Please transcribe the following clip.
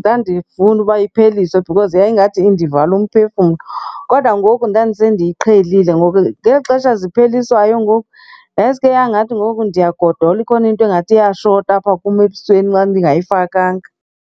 ndandifunda uba ipheliswe because yayingathi indivala umphefumlo. Kodwa ngoku ndandisendiyiqhelile. Ngoku ngeli xesha zipheliswayo, ngoku yasuke yangathi ngoku ndiyagodola, ikhona into engathi iyashota apha kum ebusweni bam ndingayifakanga.